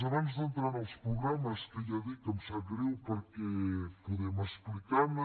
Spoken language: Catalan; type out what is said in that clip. abans d’entrar en els programes que ja dic que em sap greu perquè podem explicar ne